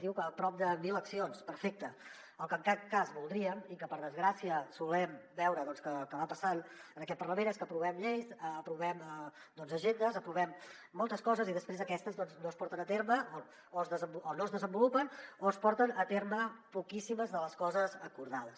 diu que a prop de mil accions perfecte el que en cap cas voldríem i que per desgràcia solem veure doncs que va passant en aquest parlament és que aprovem lleis aprovem agendes aprovem moltes coses i després aquestes no es porten a terme o no es desenvolupen o es porten a terme poquíssimes de les coses acordades